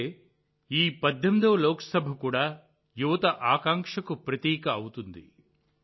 అంటే ఈ 18వ లోక్ సభ కూడా యువత ఆకాంక్షకు ప్రతీక అవుతుంది